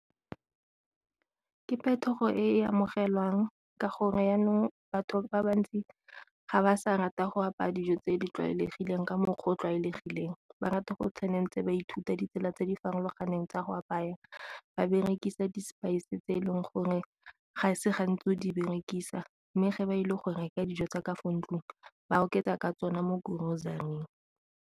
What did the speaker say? Ke phetogo e amogelwang ka gore jaanong batho ba bantsi ga ba sa rata go apaya dijo tse di tlwaelegileng ka mokgwa o o tlwaelegileng, ba rata go o tshwanetse ba ithuta tse di farologaneng tsa go apaya ba berekisa di-spice tse e leng gore ga e se gantsi o di berekisa. Mme ge ba ile go reka dijo tsa ka fo ntlong ba oketsa ka tsone mo grocery-ing.